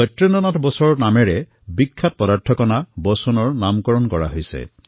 সত্যেন্দ্ৰ নাথ বসুৰ নামততো বিখ্যাত মৌল Bosonৰ নামাকৰণ কৰা হৈছিল